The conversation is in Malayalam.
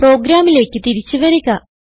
പ്രോഗ്രാമിലേക്ക് തിരിച്ച് വരുക